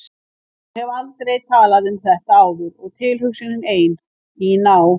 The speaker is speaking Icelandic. Ég hef aldrei talað um þetta áður og tilhugsunin ein, í ná